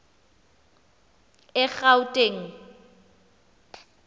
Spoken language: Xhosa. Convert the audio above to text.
egauteng